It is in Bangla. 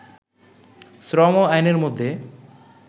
শ্রম আইনের মধ্যে